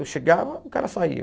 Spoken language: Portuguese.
Eu chegava, o cara saía.